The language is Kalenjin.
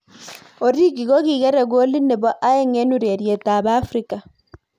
Origi kokikre kolit nebo aeng eng ureriet ab Africa.